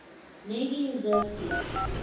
navy reserve fleet